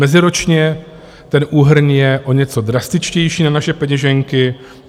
Meziročně ten úhrn je o něco drastičtější na naše peněženky.